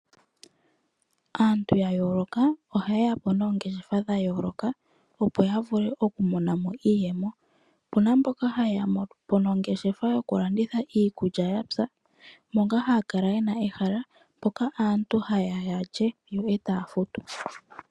Aantu yayoloka ohaye yapo noongeshefa dhayoloka opo ya vule oku mona mo iiyemo. Opuna mboka ya mono po ongeshefa yoku landitha iikulya yapya. Moka haya kala yena mo ehala moka aantu haaya yalye yo eta futu.